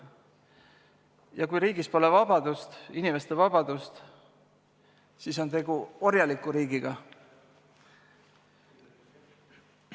Ja kui riigis pole vabadust, inimeste vabadust, siis on tegu orjaliku riigiga.